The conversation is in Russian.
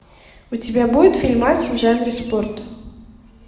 у тебя будет фильмас в жанре спорт